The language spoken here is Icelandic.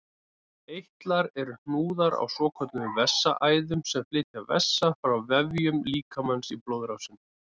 Eitlar eru hnúðar á svokölluðum vessaæðum sem flytja vessa frá vefjum líkamans í blóðrásina.